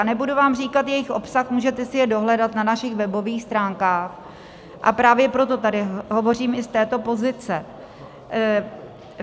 A nebudu vám říkat jejich obsah, můžete si je dohledat na našich webových stránkách, a právě proto tady hovořím i z této pozice.